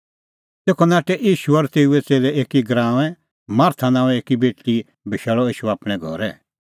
तेखअ नाठै ईशू और तेऊए च़ेल्लै एकी गराऊंऐं मार्था नांओंए एकी बेटल़ी बशैल़अ ईशू आपणैं घरै